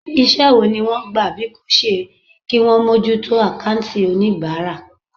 Iṣẹ́ wo ni wọ́n gbà bí kò ṣe kí wọn mójútó àkáùntì oníbàárà.